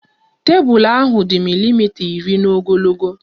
Tebụl ahụ dị milimita iri n'ogologo